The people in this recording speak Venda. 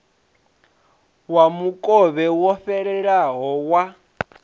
wa mukovhe wo fhelelaho wa